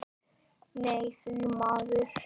Nei því miður.